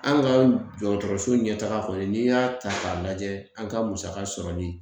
An ka dɔgɔtɔrɔso ɲɛtaga kɔni n'i y'a ta k'a lajɛ an ka musaka sɔrɔli